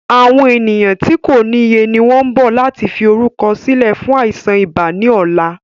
Àwọn ènìyàn tí kòniye ni wọn ń bọ̀ láti fi orúkọ sílẹ̀ fún àìsàn ibà ni ọ̀la.